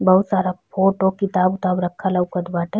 बहुत सारा फोटो किताब उताब रखल लउकत बाटे।